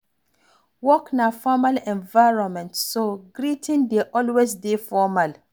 Work na formal environment, so greeting dey always dey formal